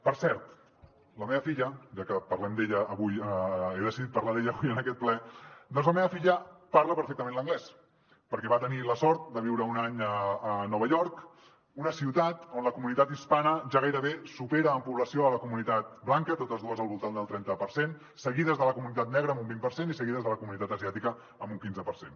per cert la meva filla ja que parlem d’ella avui he decidit parlar d’ella en aquest ple parla perfectament l’anglès perquè va tenir la sort de viure un any a nova york una ciutat on la comunitat hispana ja gairebé supera en població la comunitat blanca totes dues al voltant del trenta per cent seguides de la comunitat negra amb un vint per cent i seguides de la comunitat asiàtica amb un quinze per cent